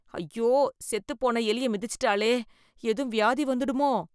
ஐயோ, செத்துப்போன எலிய மிதிச்சுட்டாளே, ஏதும் வியாதி வந்துடுமோ?